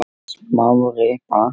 Smári bank